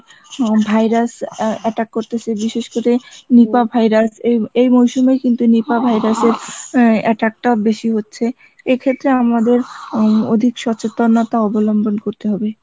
অং virus attack করতেসে বিশেষ করে virus এই মরশুমে কিন্তু নিপা virus এর attack টা বেশি হচ্ছে এক্ষেত্রে আমাদের অধিক সচেতনতা অবলম্বন করতে হবে